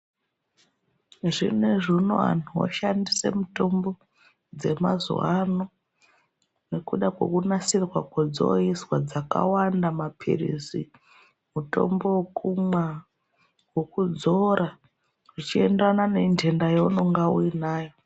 Zvinezvi unowu vantu voshandisa mitombo yemazuva ano nekuda kwekunasirwa kwedzoizwa dzakawanda mapirizi, mutombo wekumwa newekudzora zvichienderana nenhenda yaunonga uionawo.